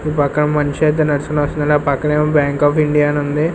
ఈ పక్క మనిషి అయితే నడుచుకుంటూ వస్తున్నారు అలా పక్కన బ్యాంక్ ఆఫ్ ఇండియా అని ఉంది.